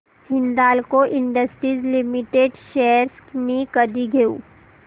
Hindalco industries limited shares मी कधी घेऊ